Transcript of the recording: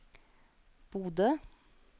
Bodø